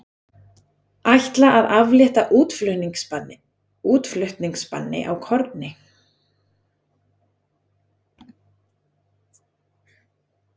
Ætla að aflétta útflutningsbanni á korni